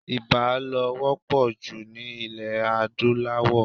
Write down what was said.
Ibà ló wọ́pọ̀ jù ní ilẹ̀ adúláwò.